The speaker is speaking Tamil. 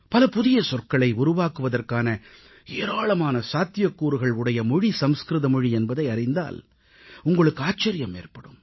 பல புதிய சொற்களை உருவாக்குவதற்கான ஏராளமான சாத்தியக்கூறுகள் உடைய மொழி சமஸ்கிருத மொழி என்பதை அறிந்தால் உங்களுக்கு ஆச்சரியம் ஏற்படும்